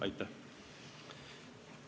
Aitäh!